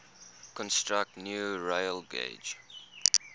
construct new railgauge